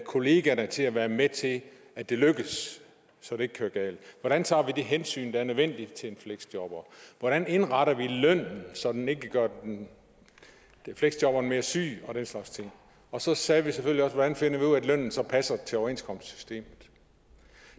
kollegerne til at være med til at det lykkes så det ikke går galt hvordan tager vi det hensyn der er nødvendigt til en fleksjobber hvordan indretter vi lønnen så den ikke gør fleksjobberen mere syg og den slags ting og så sagde vi selvfølgelig også hvordan finder vi ud af at lønnen så passer til overenskomstsystemet